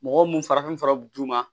Mɔgɔ mun farafin fara bɛ d'u ma